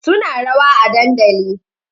Suna rawa a dandali